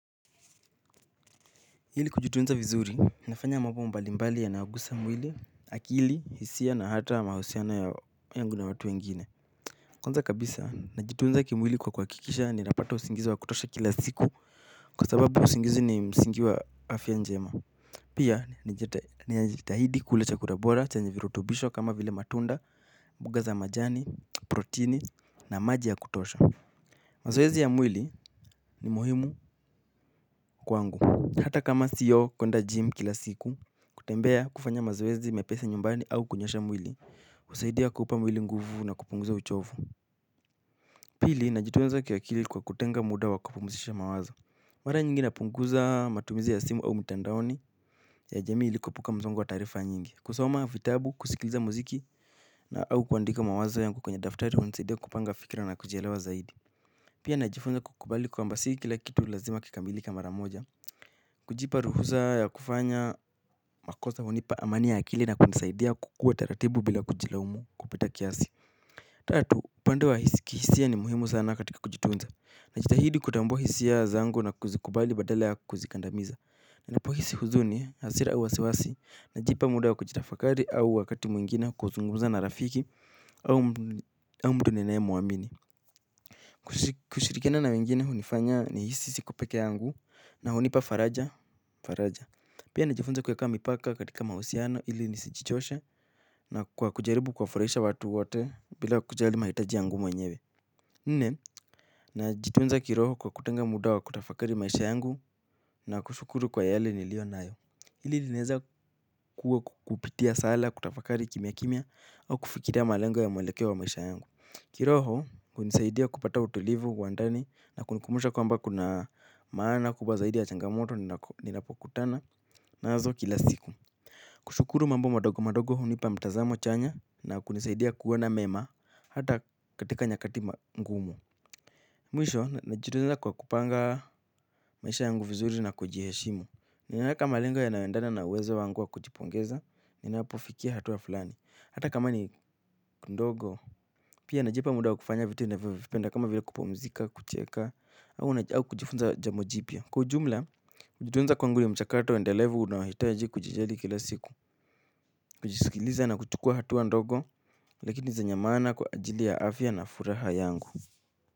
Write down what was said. Ili kujitunza vizuri, nafanya mambo mbali mbali yanayogusa mwili, akili, hisia na hata mahusiano ya yangu na watu wengine. Kwanza kabisa, najitunza kimwili kwa kuhakikisha ninapata usingizi wa kutosha kila siku kwa sababu usingizi ni msingi wa afya njema pia najitahidi kula chakura bora chenye virutubisho kama vile matunda mboga za majani protini na maji ya kutosha. Mazowezi ya mwili ni muhimu kwangu. Hata kama siyo kuenda gym kila siku kutembea kufanya mazowezi mepesi nyumbani au kunyosha mwili kusaidia kupa mwili nguvu na kupunguza uchovu. Pili, najitoweza kiwakili kwa kutenga muda wakupumuzisha mawazo mara nyingi napunguza matumizi ya simu au mtandaoni. Ya jami ilikuepuka mzongo wa tarifa nyingi kusoma vitabu, kusikiliza muziki na au kuandika mawazo yangu kwenye daftari kusaidia kupanga fikira na kujielewa zaidi pia najifunza kukubali kwa mbasi kila kitu lazima kikamilike maramoja. Kujipa ruhuza ya kufanya makoza hunipa amani ya akili na kunisaidia kukua taratibu bila kujilaumu kupita kiasi. Tatu, upandew a kihisia ni muhimu sana katika kujitunza. Najitahidi kutambuwa hisia zangu na kuzikubali badala ya kuzikandamiza. Ninapohisi huzuni, hasira uwasiwasi najipa muda wa kujitafakari au wakati mwingine kuzungumza na rafiki au mtu ninaye mwamini. Kushirikiana na wengine hunifanya ni hisi sikupeke yangu na hunipa faraja. Pia nijifunze kuyeka mipaka katika mausiano ili nisichichoshe na kujaribu kwa furisha watu wote bila kujali mahitaji yangu mwenyewe. Nne na jitunza kiroho kwa kutenga muda wa kutafakari maisha yangu na kushukuru kwa yale nilio nayo ili lineza kuwa kupitia sala kutafakari kimia kimia wa kufikiria malengo ya mwelekeo wa maisha yangu. Kiroho, kunisaidia kupata utulivu, wandani, na kunikumusha kwa mba kuna maana kuba zaidi ya changamoto, ninapokutana, nazo kila siku. Kushukuru mambo madogo madogo hunipa mtazamo chanya, na kunisaidia kuwana mema, hata katika nyakati mgumu. Mwisho, najiruza kwa kupanga maisha yangu vizuri na kujiheshimu. Ni naeka malengo yanawendana na uwezo wangua kujipongeza, ninapofikia hatua fulani. Hata kama ni kundogo, pia najipa muda wakufanya vitu navipenda kama vila kupumzika, kucheka, au kujifunza jambojipia. Kwa ujumla, kujituunza kwanguri ni mchakato endelevu unawahitaji kujijali kila siku, kujisikiliza na kuchukua hatua ndogo, lakini zenyamana kwa ajili ya afya na furaha yangu.